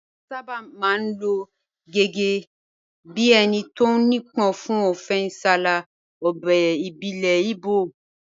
Wọ́n sábà máa ń lò ó gẹ́gẹ́ bí ẹni tó nípọn fún ọfẹ nsala, ọbẹ̀ ìbílẹ̀ Igbo